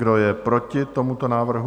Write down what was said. Kdo je proti tomuto návrhu?